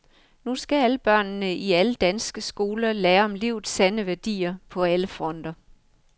Nu skal alle børnene i alle danske skoler lære om livets sande værdier på alle fronter.